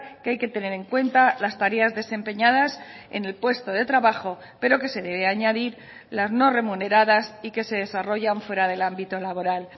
que hay que tener en cuenta las tareas desempeñadas en el puesto de trabajo pero que se debe añadir las no remuneradas y que se desarrollan fuera del ámbito laboral